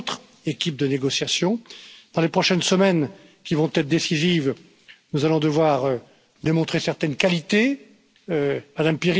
This means that we will have to remain vigilant as regards, first and foremost, the preservation of citizens' rights, be it during the transition period or under whatever future relationship with the United Kingdom.